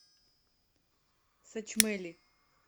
сачмэли